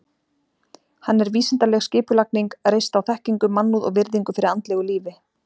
Hann er vísindaleg skipulagning, reist á þekkingu, mannúð og virðingu fyrir andlegu lífi.